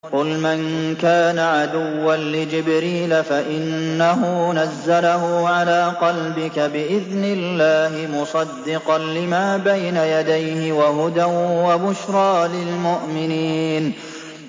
قُلْ مَن كَانَ عَدُوًّا لِّجِبْرِيلَ فَإِنَّهُ نَزَّلَهُ عَلَىٰ قَلْبِكَ بِإِذْنِ اللَّهِ مُصَدِّقًا لِّمَا بَيْنَ يَدَيْهِ وَهُدًى وَبُشْرَىٰ لِلْمُؤْمِنِينَ